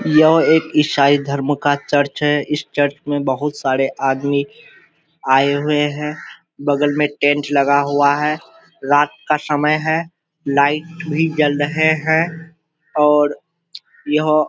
यह एक ईसाई धर्म का चर्च है इस चर्च में बहुत सारे आदमी आए हुए हैं बगल में टेंट लगा हुआ है रात का समय है लाइट भी जल रहे है और यहाँ --